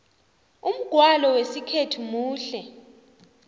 umgwalo wesikhethu muhle